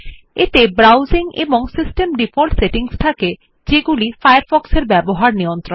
এতে ব্রাউজিং এবং system default settings থাকে যা ফায়ারফক্স এর ব্যবহার নিয়ন্ত্রণ করে